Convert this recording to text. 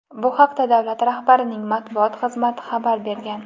Bu haqda davlat rahbarining matbuot xizmati xabar bergan.